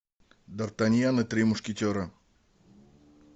дартаньян и три мушкетера